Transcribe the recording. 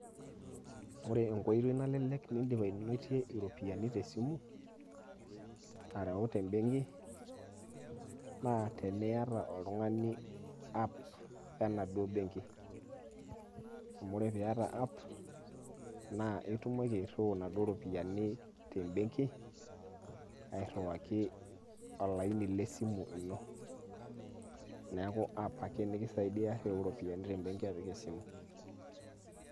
ore enkoitoi nalelek nidim ainotie iropiyiani te simu ashu te benki, naa teniyata oltungani app enaduoo benki, amu ore app pee iyata naa itumoki airiu inaduoo ropiyiani, te benki arewaki olaini le simu ino .neeku app ake nikisaidia tereu iropiyiani te benki apik esimu.